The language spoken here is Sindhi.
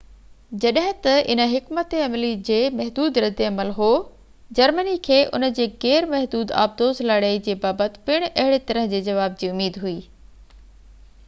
جڏهن ته ان حڪمت عملي جي محدود رد عمل هو جرمني کي ان جي غير محدود آبدوز لڙائي جي بابت پڻ اهڙي طرح جي جواب جي اميد هئي